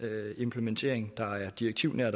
implementering der er direktivnær